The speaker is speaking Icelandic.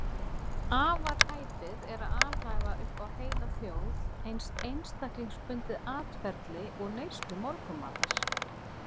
Afar hæpið er að alhæfa upp á heila þjóð eins einstaklingsbundið atferli og neyslu morgunmatar.